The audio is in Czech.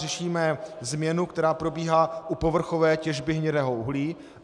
Řešíme změnu, která probíhá u povrchové těžby hnědého uhlí.